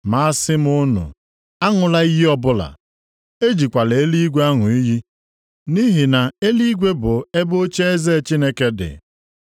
Ma asị m unu aṅụla iyi ọbụla. Ejikwala eluigwe aṅụ iyi nʼihi na eluigwe bụ ebe ocheeze Chineke dị.